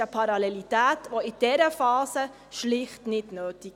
Diese Parallelität ist in dieser Phase schlicht nicht notwendig.